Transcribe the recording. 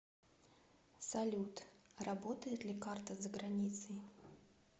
салют работает ли карта за границей